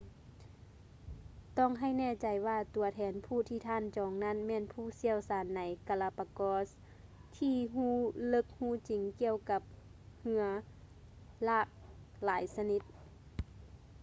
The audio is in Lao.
ຕ້ອງໃຫ້ແນ່ໃຈວ່າຕົວແທນຜູ້ທີ່ທ່ານຈອງນັ້ນແມ່ນຜູ້ຊ່ຽວຊານໃນ galapagos ທີ່ຮູ້ເລິກຮູ້ຈິງກ່ຽວກັບເຮືອຫຼາກຫຼາຍຊະນິດ